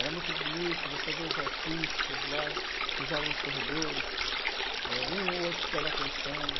Era muito bonito, você vê os artistas lá, cruzavam os corredores, eh, um ou outro dava atenção.